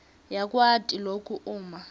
yakwati loku uma